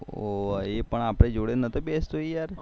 એ પણ આપડી જોડે નાતો બેસતો યાર